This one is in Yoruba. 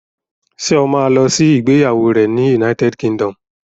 Ṣé o ma lọ sí ìgbéyàwó rẹ̀ ní United Kingdom?